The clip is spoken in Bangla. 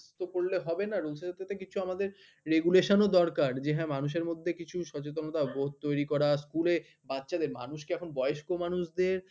তো করলে হবে না rules এর প্রতি কিছু আমাদের regulation ও দরকার। যে হ্যাঁ মানুষের মধ্যে কিছু সচেতনতা বোধ তৈরি করা school এ বাচ্চাদের মানুষকে এখন বয়স্ক মানুষদের